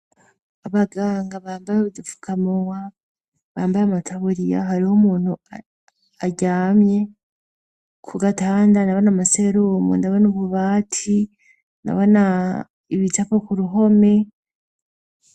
Abaganga bambaye udapfukamowa bambaye amataburiya hari ho umuntu aryamye ku gatanda na bana amaseeromu ndaba n'ububati na bana ibicapo ku ruhome.